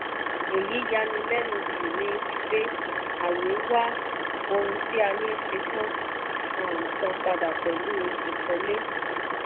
èyí ya ni lenu jù ní wípé ayé wá ohun a ní ṣe tán um san padà pẹ̀lú ìkọ́lé.